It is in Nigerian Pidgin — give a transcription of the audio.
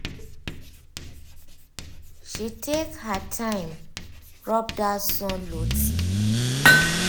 she take her time rub that sun loti